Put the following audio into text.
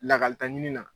Lakalita ɲini na